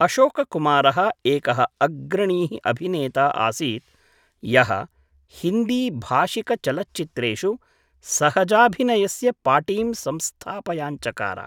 अशोककुमारः एकः अग्रणी: अभिनेता आसीत् यः हिन्दीभाषिकचलच्चित्रेषु सहजाभिनयस्य पाटीं संस्थापयाञ्चकार।